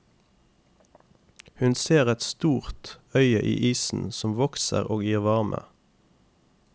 Hun ser et stort øye i isen som vokser og gir varme.